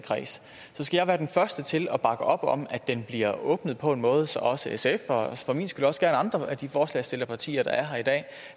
kreds så skal jeg være den første til at bakke op om at den bliver åbnet på en måde så også sf og for min skyld også gerne andre af de forslagsstillerpartier der er her i dag